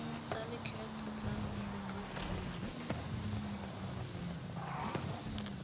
tsa lekgetho tsa aforika borwa